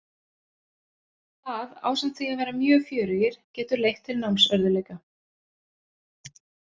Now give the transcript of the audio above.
Það, ásamt því að vera mjög fjörugir, getur leitt til námsörðugleika.